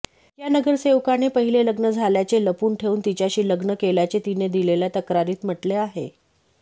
या नगरसेवकाने पहिले लग्न झाल्याचे लपवून ठेवून तिच्याशी लग्न केल्याचे तिने दिलेल्या तक्रारीत म्हटले आहे